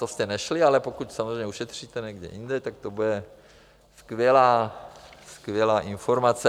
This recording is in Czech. To jste nešli, ale pokud samozřejmě ušetříte někde jinde, tak to bude skvělá informace.